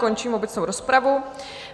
Končím obecnou rozpravu.